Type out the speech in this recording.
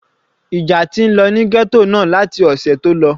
Ìjà ti ń lọ ní ghetto náà láti ọ̀sẹ̀ tó lọ.